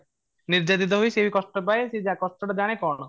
ନିର୍ଯାତିତ ହୁଏ ସିଏ ବି କଷ୍ଟ ପାଏ ସିଏ କଷ୍ଟ ତା ଜାଣେ କ'ଣ ?